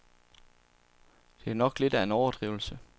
Det er nok lidt af en overdrivelse.